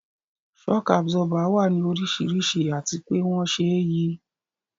Shock Absorber wà ní oríṣiríṣi àti pé wón ṣe é yí